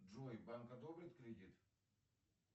джой банк одобрит кредит